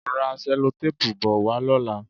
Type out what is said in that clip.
Ra sẹ́lótéèpu bo wá lọ́la.